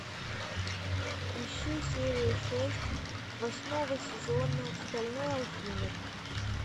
ищи серию шесть восьмого сезона стальной алхимик